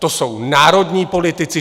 To jsou národní politici.